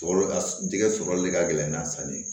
Sɔrɔ a jɛgɛ sɔrɔli ka gɛlɛn n'a sanni ye